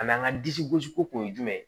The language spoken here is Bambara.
A n'an ka disi gosi ko kun ye jumɛn ye